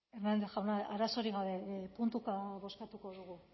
hernández jauna arazorik gabe puntuka bozkatuko dugu